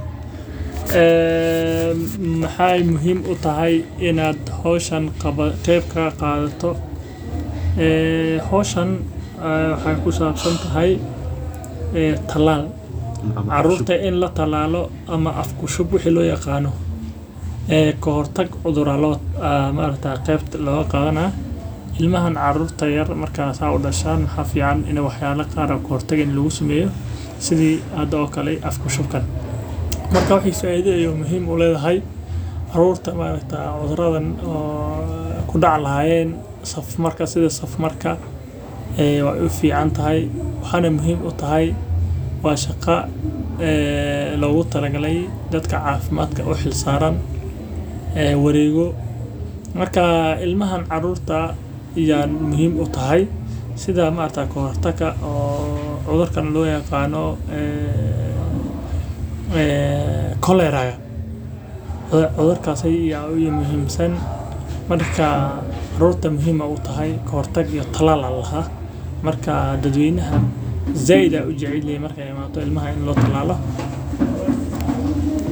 Maxaay muhiim utahay in aad howshan ka qeyb qaato waxaay ku sabsan tahay talaal ama af ku shub ka hor tag cudur ayaa lagu qaadana ilmaha markeey dashaan waay fican tahay waxeeyna muhiim utahay waa shaqa loo xil saare dadka cafimaadka oo wareego sida cudurka saf marka hore waxaa muhiim ah oo laga yaabo in ilkaha laga yaaba inaay tahay mid mashquul aduun.